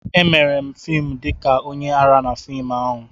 Emere m fim dị ka onye ara na fim ahụ.